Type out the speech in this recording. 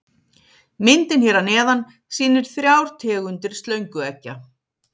Myndin hér að neðan sýnir þrjár tegundir slöngueggja.